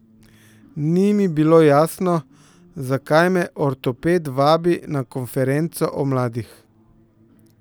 Ni mi bilo jasno, zakaj me ortoped vabi na konferenco o mladih.